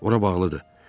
Ora bağlıdır.